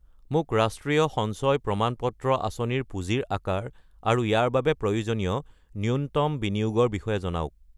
মোক ৰাষ্ট্ৰীয় সঞ্চয় প্ৰমাণ পত্ৰ আঁচনি ৰ পুঁজিৰ আকাৰ আৰু ইয়াৰ বাবে প্ৰয়োজনীয় ন্যূনতম বিনিয়োগৰ বিষয়ে জনাওক।